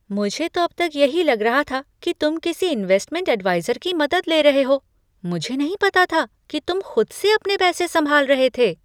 मुझे तो अब तक यही लग रहा था कि तुम किसी इनवेस्टमेंट एडवाइज़र की मदद ले रहे हो, मुझे नहीं पता था कि तुम खुद से अपने पैसे संभाल रहे थे।